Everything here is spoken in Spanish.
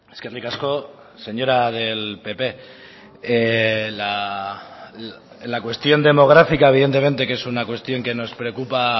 eskerrik asko señora del pp la cuestión demográfica evidentemente que es una cuestión que nos preocupa